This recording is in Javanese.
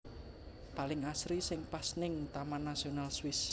Paling asri si pas ning Taman Nasional Swiss